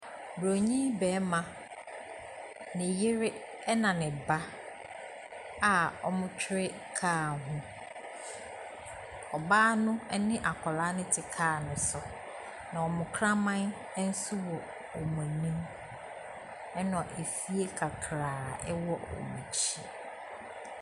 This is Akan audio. Bronii bɛma, ne yere, ɛna ne ba a ɔmo twere kaa ho, ɔbaa no ɛne akɔlaa no te kaa ne so na ɔmo kraman nso wɔ ɔmo anim ena afie kakraa enso ɛwɔ ɔmo akyi.